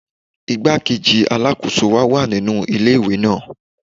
Igbá-kejì Alákóso wa wà nínú ilé ìwé náà.